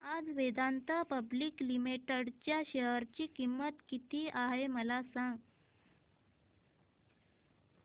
आज Vedanta public limited च्या share ची किंमत किती आहे मला सांगा